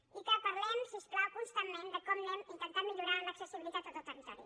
i que parlem si us plau constantment com anem intentant millorar l’accessibilitat a tot el territori